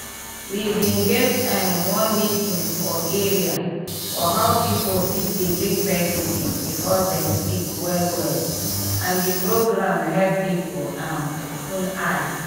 we bin get um one meeting for area for how people fit dey drink medicine before dem sick well well and di program help people um open eye